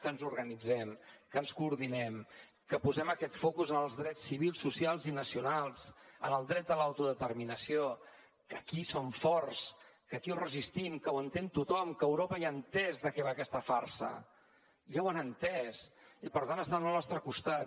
que ens organitzem que ens coordinem que posem aquest focus en els drets civils socials i nacionals en el dret a l’autodeterminació que aquí som forts que aquí ho resistim que ho entén tothom que a europa ja ha entès de què va aquesta farsa ja ho han entès i per tant estan al nostre costat